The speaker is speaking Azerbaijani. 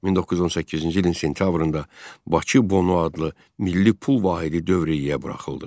1918-ci ilin sentyabrında "Bakı Bonu" adlı milli pul vahidi dövriyyəyə buraxıldı.